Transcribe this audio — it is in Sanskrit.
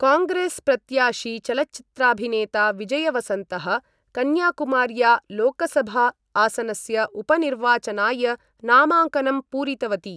काङ्ग्रेसप्रत्याशी चलचित्राभिनेता विजयवसन्तः कन्याकुमार्या लोकसभा आसनस्य उपनिर्वाचनाय नामाङ्कनं पूरितवती।